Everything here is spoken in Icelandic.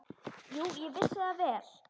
Jú, ég vissi það vel.